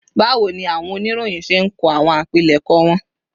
Báwo ni àwọn oníròyìn ṣe ń kọ àwọn àpilẹ̀kọ wọn